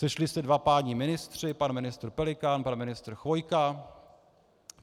Sešli se dva páni ministři, pan ministr Pelikán, pan ministr Chvojka;